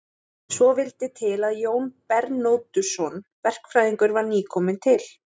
Svo vel vildi til að Jón Bernódusson verkfræðingur var nýkominn til